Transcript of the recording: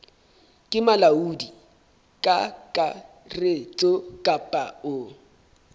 ke molaodi kakaretso kapa o